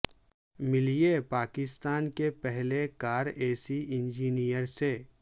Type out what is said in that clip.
ملیے پاکستان کے پہلے کار اے سی انجینئر سے